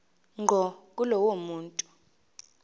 ngqo kulowo muntu